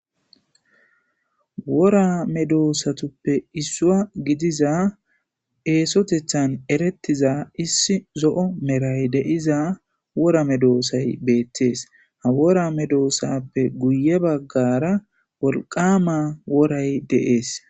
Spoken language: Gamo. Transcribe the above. wora medoosatuppe issuwa gidiza eesotethan erettiza issi zo7o meray de7iza wora medoosay beettees ha wora medoosappe guye baggara wolqama woray de7ees